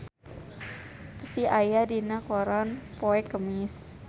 Psy aya dina koran poe Kemis